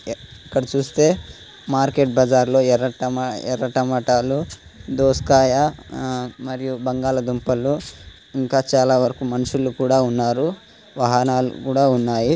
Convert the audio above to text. ఇక్కడ చూస్తే మార్కెట్ బజార్ లో ఎర్ర టమ-- ఎర్ర టమాటాలు దోసకాయ మరియు బంగాళా దుంపలు ఇంకా చాలా వరకు మనుషులు కూడా ఉన్నారు. వాహనాలు కూడా ఉన్నాయి.